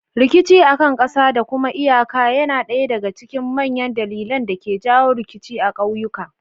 Rikicin akan ƙasa da kuma iyaka yana ɗaya daga cikin manyan dalilan da ke jawo rikici a ƙauyuka.